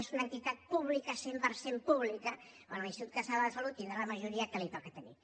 és una entitat pública cent per cent pública en què l’institut català de la salut tindrà la majoria que li toca tenir